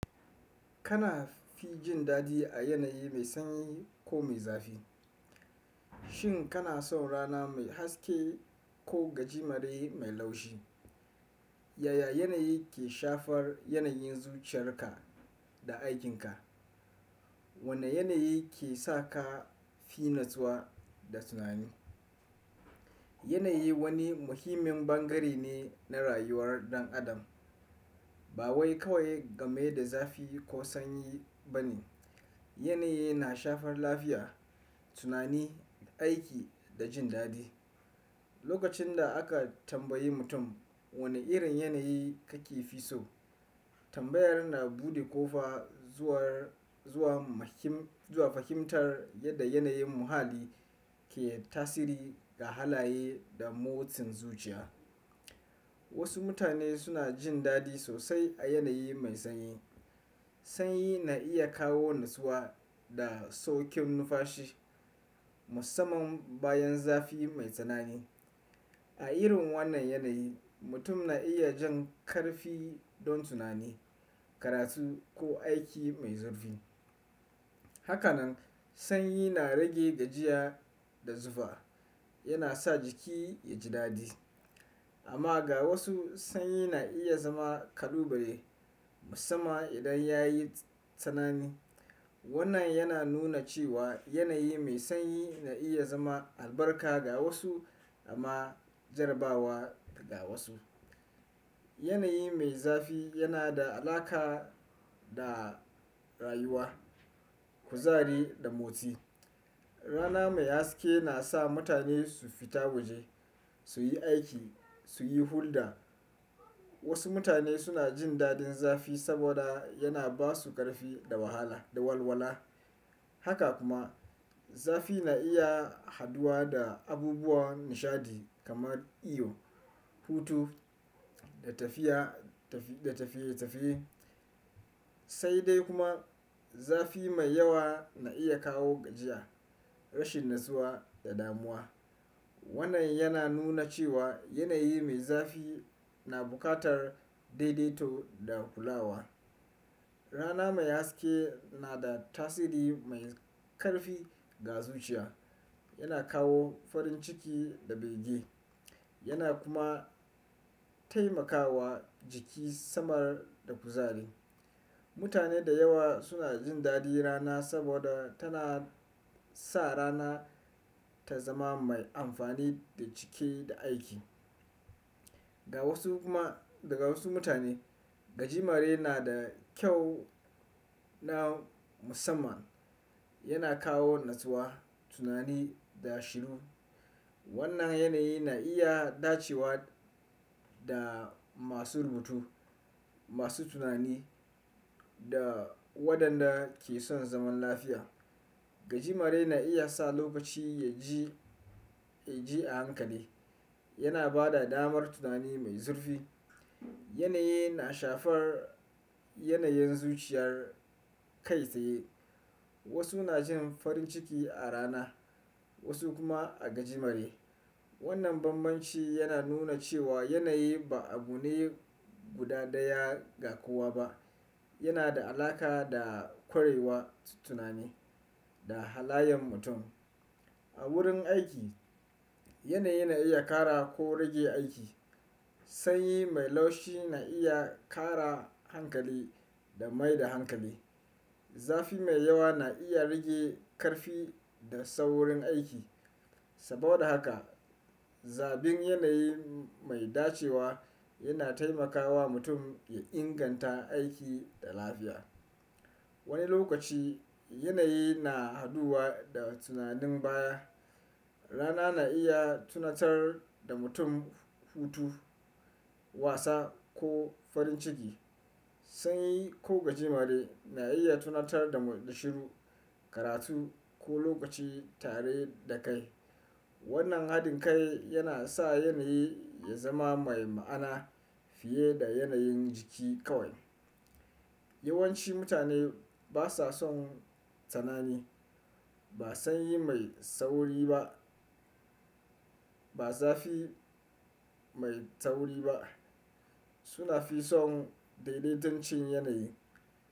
Kana fi jin daɗi a yanayi mai sanyi ko mai zafi? Shin kana son rana mai haske ko gajimare mai laushi? Yaya yanayi ke shafar yanayin zuciyarka da aikinka? Wane yanayi ke sa ka fi natsuwa da tunani? Yanayi wani muhimmin ɓangare ne na rayuwar ɗan adam. Ba wai kawai game da zafi ko sanyi ba ne. Yanayi na shafar lafiya, tunani, aiki da jin daɗi. Lokacin da aka tambayi mutum wane irin yanayi kake fi so, tambayar na buɗe kofa zuwa, zuwa mahim, zuwa fahimtar yadda yanayin muhalli ke tasiri ga halaye da motsin zuciya. Wasu mutane suna jin daɗi sosai a yanayi mai sanyi. Sanyi na iya kawo natsuwa da sauƙin nunfashi, musamman bayan zafi mai tsanani. A irin wannan yanayi, mutum na iya jan ƙarfi don tunani, karatu ko aiki mai zurfi. Haka nan, sanyi na rage gajiya da zufa, yana sa jiki ya ji daɗi. Amma ga wasu, sanyi na iya zama ƙalubale, musamman idan ya yi tsanani. Wannan yana nuna cewa yanayi mai sanyi na iya zama albarka ga wasu amma jarabawa ga wasu. Yanayi mai zafi yana da alaƙa da rayuwa, kuzari da motsi. Rana mai haske na sa mutane su fita waje, su yi aiki, su yi hulɗa. Wasu mutane suna jin daɗin zafi saboda yana ba su ƙarfi da wahala da walwala. Haka kuma, zafi na iya haɗuwa da abubuwa nishaɗi kamar iyo, hutu da tafiya, tafiye-tafiye. Sai dai kuma zafi mai yawa na iya kawo gajiya, rashin natsuwa da damuwa. Wannan yana nuna cewa yanayi mai zafi na buƙatar daidaito da kulawa. Rana mai haske na da tasiri mai ƙarfi ga zuciya. Yana kawo farin ciki da bege. Yana kuma taimakawa jiki samar da kuzari. Mutane da yawa suna jin daɗi rana saboda tana sa rana ta zama mai amfani da cike da aiki. Ga wasu kuma, daga wasu mutane, gajimare na da kyau na musamman. Yana kawo natsuwa, tunani da shiru. Wannan yanayi na iya dacewa da masu rubutu, masu tunani da waɗanda ke son zaman lafiya. Gajimare na iya sa lokaci ya ji, ya ji a hankali. Yana ba da damar tunani mai zurfi. Yanayi na shafar yanayin zuciyar kai tsaye. Wasu na jin farin ciki a rana, wasu kuma a gajimare. Wannan bambanci yana nuna cewa yanayi ba abune guda daya ga kowa ba. Yana da alaƙa da kwarewar tunani da halayen mutum. A wurin aiki, yanayi na iya ƙara ko rage aiki. Sanyi mai laushi na iya ƙara hankali da mai da hankali. Zafi mai yawa na iya rage ƙarfi da saurin aiki. Saboda haka, zabin yanayi mai dacewa yana taimakawa mutum ya inganta aiki da lafiya. Wani lokaci yanayi na haduwa da tunanin baya. Rana na iya tunatar da mutum hutu, wasa ko farin ciki. Sanyi ko gajimare na iya tunatar da shiru, karatu ko lokaci tare da kai. Wannan haɗin kai yana sa yanayi ya zama mai ma'ana fiye da yanayin jiki kawai. Yawanci mutane ba sa son tsanani. Ba sanyi mai sauri ba. Ba zafi mai sauri ba. Suna fi son daidaiton cin yanayi.